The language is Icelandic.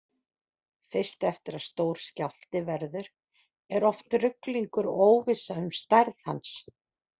Fyrst eftir að stór skjálfti verður er oft ruglingur og óvissa um stærð hans.